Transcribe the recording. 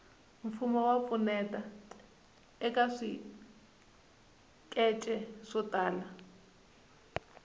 mfumo wa pfuneta eka swikece swo tala